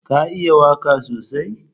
Ka iya waka sosai?